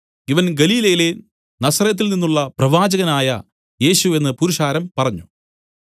ഇവൻ ഗലീലയിലെ നസറെത്തിൽനിന്നുള്ള പ്രവാചകനായ യേശു എന്നു പുരുഷാരം പറഞ്ഞു